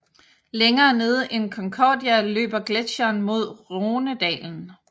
Længere nede end Concordia løber gletsjeren mod Rhonedalen